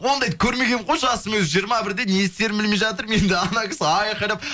ондайды көрмегенмін ғой жасым өзі жиырма бірде не істерімді білмей жатырмын енді ана кісі айқайлап